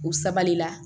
U sabali la